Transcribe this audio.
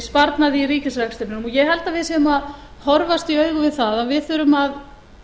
sparnað í ríkisrekstrinum ég held að við séum að horfast í augu við það að